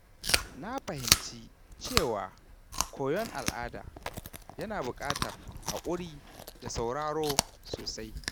Na fahimci cewa koyon al’ada yana buƙatar haƙuri da sauraro sosai.